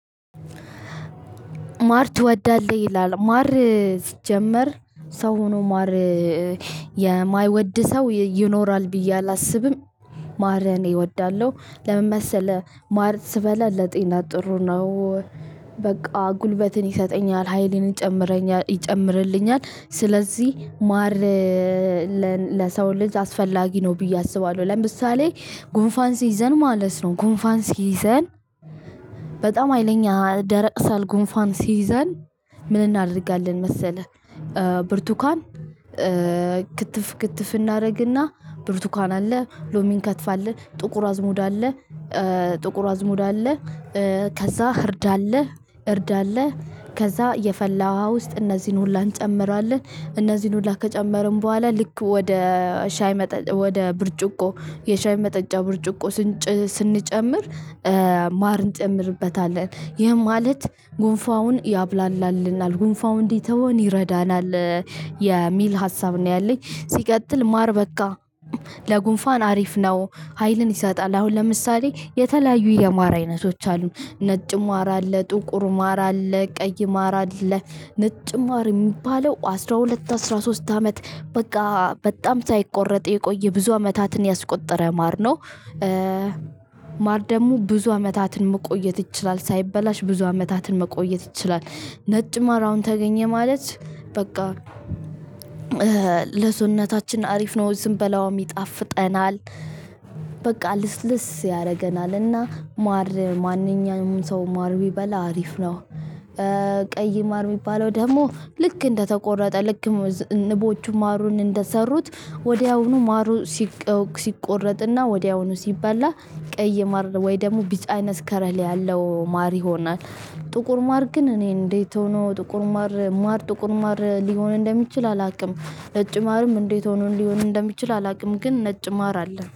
ማር ትወዳለህ? ይላል፣ ማር ሲጀመር ሰው ሆኖ ማር የማይወድ ሰው ይኖራል ብዬ አላስብም። ማር እኔ እወዳለሁ፣ ለምን መሰለህ ማር ስበላ ለጤና ጥሩ ነው። በቃ ጉልበትን ይሰጠኛል ሀይልን ይጨምርልኛል። ስለዚህ ማር ለሰው ልጅ አስፈላጊ ነው ብዬ አስባለሁ ለምሳሌ ጉንፋን ሲይዘን ማለት ነው ጉንፋን ሲይዘን በጣም ሀይለኛ ደረቅ ሳል ጉንፋን ሲይዘን ምን እናደርጋለን መሰለህ ብርቱካን ክትፍ ክትፍ እናደርግ እና ብርቱካን አለ ሎሚን እንከትፋለን ጥቁር አዝሙድ አለ ጥቁር አዝሙድ አለ ከዛ እርድ አለ እርድ አለ ከዛ የፈላ ውሃ ውስጥ እነዚህን ሁላ እንጨምራለን። እነዚህን ሁላ ከጨመርን በኋላ ልክ ወደ ሻይ ወደ ብርጭቆ የሻይ መጠጫ ብርጭቆ ስንጨምር ማር እንጨምርበታለን። ይህም ማለት ጉንፋኑን ያብላላልናል ጉንፋኑ እንዲተወን ይረዳናል። የሚል ሀሳብ ነው ያለኝ ሲቀጥል ማር በቃ ለጉንፋን አሪፍ ነው ሀይልን ይሰጣል አሁን ለምሳሌ የተለያዩ የማር አይነቶች አሉ ነጭ ማር አለ፣ ጥቁር ማር አለ፣ ቀይ ማር አለ፣ ነጭ ማር የሚባለው አስራ ሁለት አስራ ሶስት አመት በጋ በጣም ሳይቆረጥ የቆየ ብዙ አመታትን ያስቆጠረ ማር ነው። ማር ደግሞ ብዙ አመታትን መቆየት ይችላል፤ ሳይበላሽ ብዙ አመታትን መቆየት ይችላል። ነጭ ማር አሁን ተገኘ ማለት በቃ ለሰውነታችን አሪፍ ነው ስንበላውም ይጣፍጠናል። በቃ ልስልስ ያደርገናል እና ማር ማንኛውም ሰው ማር ቢበላ አሪፍ ነው። ቀይ ማር የሚባለው ደግሞ ልክ እንደተቆረጠ ልክ ንቦቹ ማሩን እንደሰሩት ወዲያውኑ ማሩ ሲቆረጥ እና ወዲያውኑ ሲባላ ቀይ ማር ወይም ደግሞ ቢጫ አይነት ከለር ያለው ማር ይሆናል። ጥቁር ማር ግን እኔ እንዴት ሆኖ ጥቁር ማር፣ ማር ጥቁር ማር ሊሆን እንደሚችል አላውቅም። ነጭ ማርም እንዴት ሆኖ ሊሆን እንደሚችል አላውቅም ግን ነጭ ማር አለ።